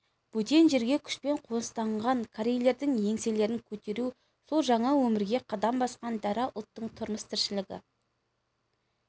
бөтен жерге күшпен қоныстанған корейлердің еңселерін көтеруі сол жаңа өмірге қадам басқан дара ұлттың тұрмыс-тіршілігі